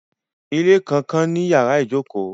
Ilé kànkan ní yàrá-ìjòkó